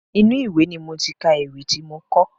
Inú ìwé ni mo ti ka ewì tí mo kọ.